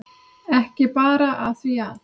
Ekki bara af því að